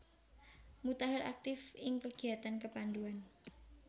Mutahar aktif ing kegiatan kepanduan